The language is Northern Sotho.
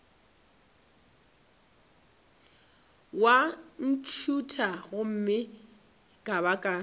wa ntšhutha gomme ka baka